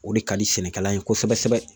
O de ka di sɛnɛkɛla ye kosɛbɛ kosɛbɛ .